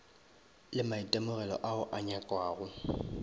le maitemogelo ao a nyakwago